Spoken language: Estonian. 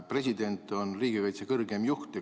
President on riigikaitse kõrgeim juht.